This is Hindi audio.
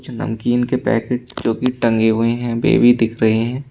नमकीन के पैकेट जो की टंगे हुए हैं बेबी दिख रहे हैं।